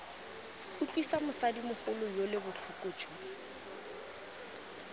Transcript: utlwisa mosadimogolo yole botlhoko jo